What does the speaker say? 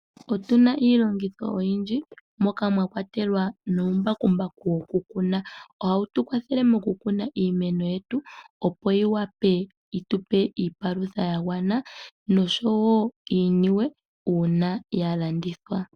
Otu na iilongitho oyindji moka mwa kwatelwa uumbakumbaku wokukuna. Ohawu tu kwathele mokukuna iimeno yetu, opo yi wape yi tu pe iipalutha ya gwana noshowo iiniwe uuna ya landithwa.